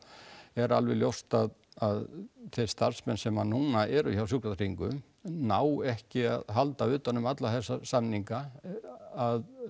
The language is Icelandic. er alveg ljós að þeir starfsmenn sem að núna eru hjá Sjúkratryggingum ná ekki að halda utan um alla þessa samninga að